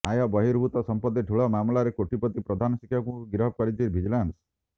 ଆୟ ବହିର୍ଭୂତ ସମ୍ପତ୍ତି ଠୁଳ ମାମଲାରେ କୋଟିପତି ପ୍ରଧାନ ଶିକ୍ଷକଙ୍କୁ ଗିରଫ କରିଛି ଭିଜିଲାନ୍ସ